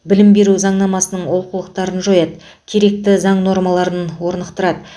білім беру заңнамасын олқылықтарың жояды керекті заң нормаларын орнықтырады